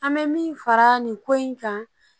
An bɛ min fara nin ko in kan